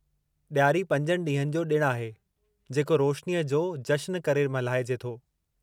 ॾियारी पंजनि ॾींहनि जो ॾिणु आहे जेको रोशनीअ जो जशनु करे मल्हाइजे थो।